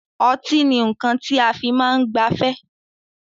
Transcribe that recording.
Ọtí ni nnkan ti a fi máa ń gbafẹ́